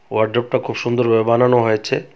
ওয়ারড্রবটা খুব সুন্দর ভাবে বানানো হয়েছে.